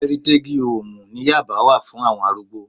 Ẹ́rítégí hoòmù ní yábà wà fún àwọn arúgbó